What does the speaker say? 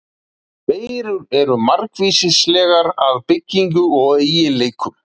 Veirur eru margvíslegar að byggingu og eiginleikum.